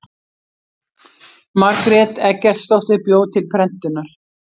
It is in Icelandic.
margrét eggertsdóttir bjó til prentunar